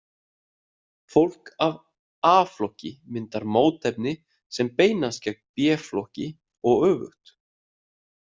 Fólk af A-flokki myndar mótefni sem beinast gegn B-flokki og öfugt.